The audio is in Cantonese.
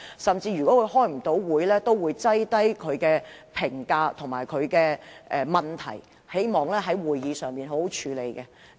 他若未能出席會議，也會事先送交他的意見和問題，希望能在會議上好好處理。